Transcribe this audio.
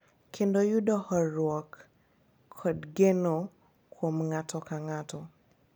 Kendo yud horuok kod geno kuom ng’ato ka ng’ato.